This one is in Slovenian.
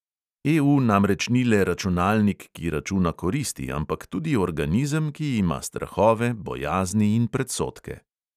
EU namreč ni le računalnik, ki računa koristi, ampak tudi organizem, ki ima strahove, bojazni in predsodke.